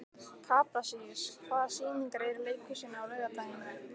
Kaprasíus, hvaða sýningar eru í leikhúsinu á laugardaginn?